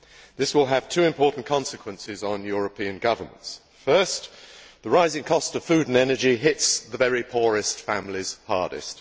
This will have two important consequences on European governments. First, the rising cost of food and energy hits the very poorest families hardest.